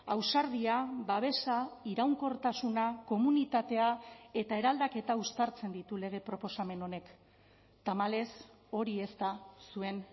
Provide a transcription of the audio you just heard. ausardia babesa iraunkortasuna komunitatea eta eraldaketa uztartzen ditu lege proposamen honek tamalez hori ez da zuen